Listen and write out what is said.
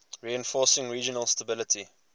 reinforcing regional stability